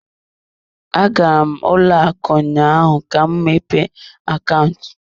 Agara m ụlọ akụ ụnyaahụ ka m mepee akaụntụ.